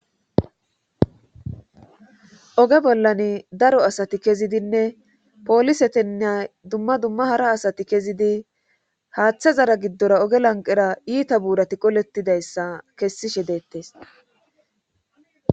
oge bollan daro asati kezidinne pooliseteneya dumma dumma hara asati kezidi haaththa zara giddora oge lanqera iita buurati qoletidayssa kessishe deettes